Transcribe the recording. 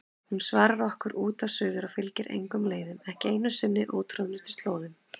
Hún svarar okkur út og suður og fylgir engum leiðum, ekki einu sinni ótroðnustu slóðum.